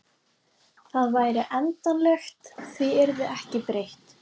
Það væri endanlegt, því yrði ekki breytt.